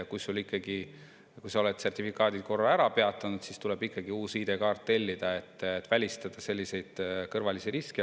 Kui sa oled sertifikaatide peatanud, siis tuleb ikkagi uus ID‑kaart tellida, et välistada selliseid kõrvalisi riske.